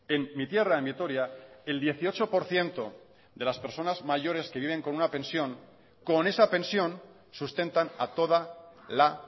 en mi tierra en vitoria el dieciocho por ciento de las personas mayores que viven con una pensión con esa pensión sustentan a toda la